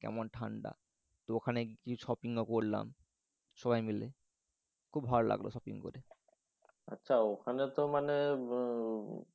ওখানে কেমন ঠাণ্ডা তো ওখানে কিছু শপিং ও করলাম। সবাই মিলে খুব ভালো লাগলো শপিং করে। আচ্ছা ওখানে তো মানে